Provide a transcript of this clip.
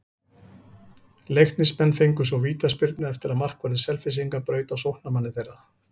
Leiknismenn fengu svo vítaspyrnu eftir að markvörður Selfyssinga braut á sóknarmanni þeirra.